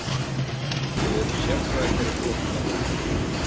Við erum sérfræðingar í flótta.